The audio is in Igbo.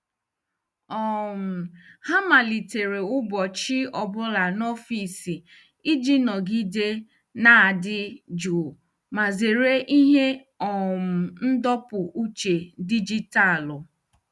um Ha malitere ụbọchị ọ bụla n'ọfịs iji nọgide na-adị jụụ ma zere ihe um ndọpụ uche dijitalụ.